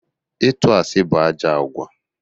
Ịtụ asị bụ ajọ àgwà.